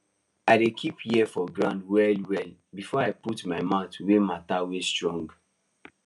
i dey keep ear for ground well well before i put my mouth for matter wey strong